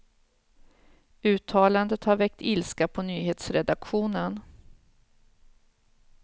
Uttalandet har väckt ilska på nyhetsredaktionen.